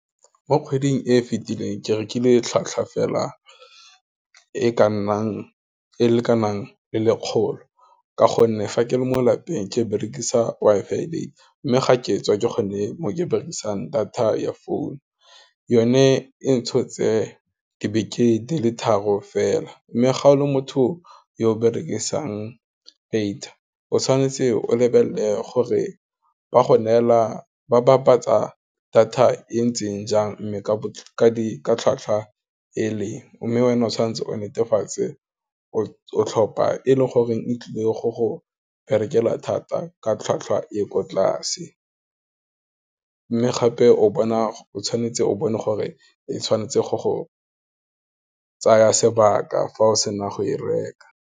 Mo kgweding e fitileng, ke rekile tlhatlhwa fela e ka nnang e le ka nang le lekgolo, ka gonne fa ke le mo lapeng, ke berekisa WI-FI data, mme ga ketswe ke gone mo ke berekisang data ya phone, yone e ntshotse di beke di le tharo fela, mme ga o le motho yo berekisang data o tshwanetse o lebelele gore ba bapatsa data e ntseng jang mme ka tlhwatlhwa e leng, mme wena o tshwanetse o netefatse o tlhopha e leng gore e tlile go go berekela thata ka tlhwatlhwa e ko tlase, mme gape o bona o tshwanetse o bone gore, e tshwanetse go go tsaya sebaka fa o sena go e reka.